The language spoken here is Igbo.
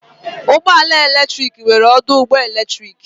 Ụgbọ ala eletrik nwere ọdụ ụgbọ eletrik.